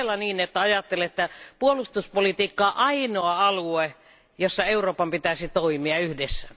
Onko todellakin niin, että ajattelette puolustuspolitiikkaa ainoana alueena, jossa Euroopan pitäisi toimia yhdessä?